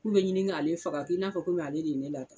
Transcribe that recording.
K'u be ɲini k'ale faga k'i n'a fɔ komi ale de ye ne la ta